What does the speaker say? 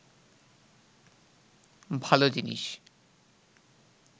ভালো জিনিস